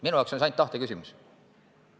Minu jaoks on see ainult tahte küsimus.